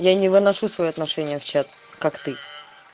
я не выношу свои отношения в чат как ты